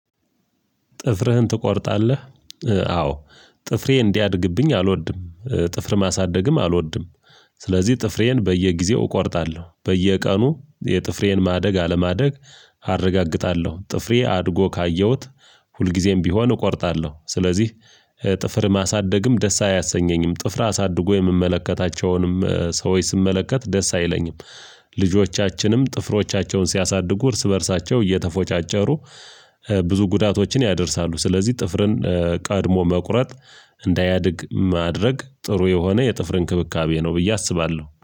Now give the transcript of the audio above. ጥፍርህን ትቆርጣለህ? አዎ ጥፍሬ እንዲያድግብኝ አልወድም ጥፍር ማሳደግም አልወድም። ስለዚህ ጥፍሬን በየጊዜው እቆርጣለሁ በየቀኑ የጥፍሬን ማደግ አለማደግ አረጋግጣለሁ ጥፍሬ አድጎ ካየሁት ሁልጊዜም ቢሆን እቆርጣለሁ። ስለዚህ ለ ጥፍር ማሳደግም ደስ አያሰኘኝም። ጥፍር አሳድጎ የምመለከታቸውንም ሰዎች ስመለከት ደስ አይለኝም። ልጆቻችንም ጥፍሮቻቸውን ሲያሳድጉ እርስ በእርሳቸው እየተፎጫጨሩ ብዙ ጉዳቶችን ያደርሳሉ። ስለዚህ ጥፍርን ቀድሞ መቁረጥ እንዳያድግ ማድረግ ጥሩ የሆነ የጥፍር እንክብካቤ ነው ብዬ አስባለሁ